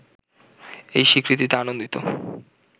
এই স্বীকৃতিতে আনন্দিত